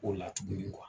O la tuguni